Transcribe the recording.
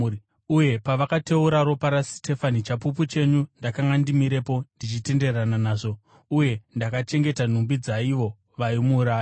Uye pavakateura ropa raSitefani chapupu chenyu, ndakanga ndimirepo ndichitenderana nazvo uye ndakachengeta nhumbi dzaivo vaimuuraya.’